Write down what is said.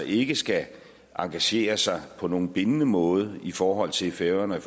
ikke skal engagere sig på nogen bindende måde i forhold til færøerne